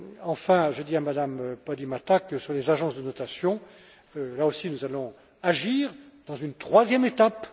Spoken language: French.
Enfin, je dis à Mme Podimata que sur les agences de notation, là aussi, nous allons agir dans une troisième étape.